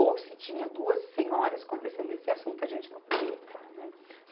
Ou se tinha duas senhoras conversando nesse assunto, a gente não podia entrar, né.